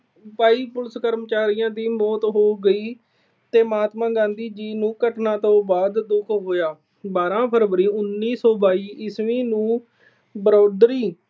ਬਾਈ police ਕਰਮਚਾਰੀਆਂ ਦੀ ਮੌਤ ਹੋ ਗਈ ਤੇ ਮਹਾਤਮਾ ਗਾਂਧੀ ਜੀ ਨੂੰ ਘਟਨਾ ਤੋਂ ਬਾਅਦ ਦੁੱਖ ਹੋਇਆ। ਬਾਰ੍ਹਾਂ ਫਰਵਰੀ, ਉਨੀ ਸੌ ਬਾਈ ਈਸਵੀ ਨੂੰ ਬਰੋਦਰੀ